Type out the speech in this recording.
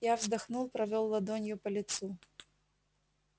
я вздохнул провёл ладонью по лицу